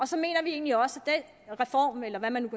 så mener vi egentlig også at den reform eller hvad man